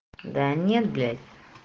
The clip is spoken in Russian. да нет блять